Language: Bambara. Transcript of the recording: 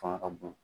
Fanga ka bon